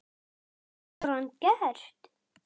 Hvað hefur hann gert?